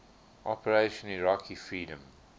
operation iraqi freedom